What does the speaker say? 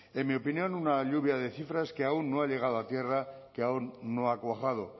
en mi opinión una lluvia de cifras que aún no ha llegado a tierra que aún no ha cuajado